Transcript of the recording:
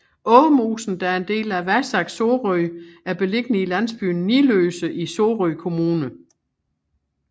Åmosen der er en del af Vasac Sorø er beliggende i landsbyen Niløse i Sorø Kommune